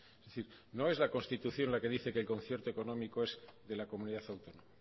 es decir no es la constitución la que dice que el concierto económico es de la comunidad autónoma